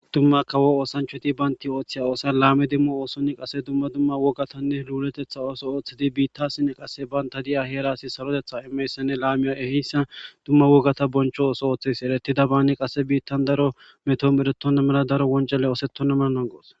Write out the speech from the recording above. Dumma kawo oosanchoti baynti ooththeya oosan laame dimmo oosonni qase dumma dumma wogatanne luuletetha ooso ooththedi biittassinne qasse banta di7a heeraasi sarotetha immeyssanne laamiya eheyssa dumma wogata boncho ooso ooththes erettida baani qasse biittan daro meto meretonna mena daro woncale oosetona menanangoos